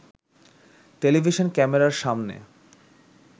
television ক্যামেরার সামনে